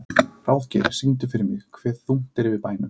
Ráðgeir, syngdu fyrir mig „Hve þungt er yfir bænum“.